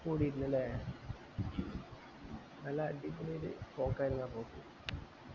കൂടിട്ടില്ല അല്ലെ നല്ല അടിപൊളിയൊരു പോക്ക് ആയിരുന്നു ആ പോക്ക്